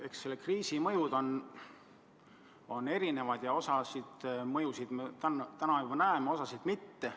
Eks selle kriisi mõjud on erinevad ja osa mõjusid me täna juba näeme, osa ehk mitte.